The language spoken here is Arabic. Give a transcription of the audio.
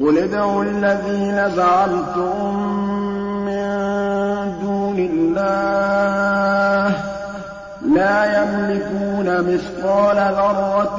قُلِ ادْعُوا الَّذِينَ زَعَمْتُم مِّن دُونِ اللَّهِ ۖ لَا يَمْلِكُونَ مِثْقَالَ ذَرَّةٍ